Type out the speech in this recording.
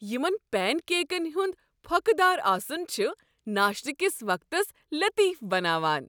یمن پینکیکن ہنٛد پھۄکہ دار آسُن چھ ناشتہ کس وقتس لطیف بناوان۔